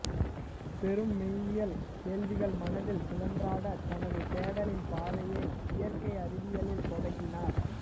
பெரும் மெய்யியல் கேள்விகள் மனதில் சுழன்றாட தனது தேடலின் பாதையை இயற்கை அறிவியலில் தொடங்கினார்